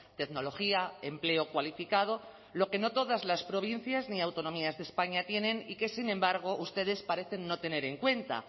tecnología empleo cualificado lo que no todas las provincias ni autonomías de españa tienen y que sin embargo ustedes parecen no tener en cuenta